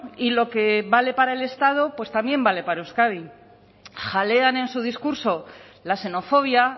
y lo que vale para el estado pues también vale para euskadi jalean en su discurso la xenofobia